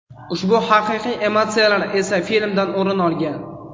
Ushbu haqiqiy emotsiyalar esa filmdan o‘rin olgan.